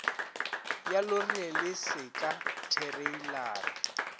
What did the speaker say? ya lori le seka thereilara